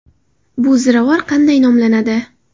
Bu ziravor qanday nomlanadi?